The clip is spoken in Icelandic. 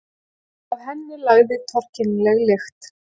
Af henni lagði torkennilega lykt.